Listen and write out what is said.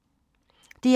DR2